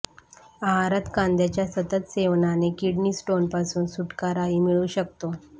आहारात कांद्याच्या सतत सेवनाने किडनी स्टोनपासून सुटकाराही मिळू शकतो